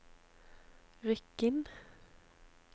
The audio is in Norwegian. Rykkinn